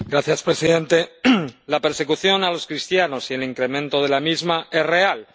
Señor presidente, la persecución de los cristianos y el incremento de la misma es real